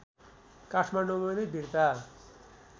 काठमाडौँमा नै बिर्ता